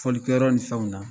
Folilikɛyɔrɔ ni fɛnw na